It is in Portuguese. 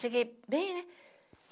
Cheguei bem, né?